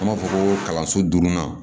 An b'a fɔ ko kalanso durunan